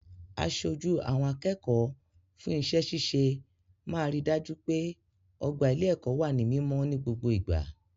Aṣojú àwọn akẹ́kọ̀ọ́ fún iṣẹ́ ṣíṣe máa ri dájú pé ọgbà ilé-ẹ̀kọ́ wà ní mímọ́ ní gbogbo ìgbà.